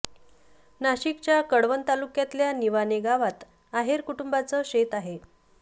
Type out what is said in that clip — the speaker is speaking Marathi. नाशिकच्या कळवण तालुक्यातल्या निवाणे गावात आहेर कुटुंबाचं शेत आहे